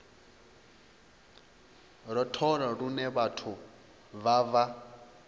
rothola lune vhathu vha vha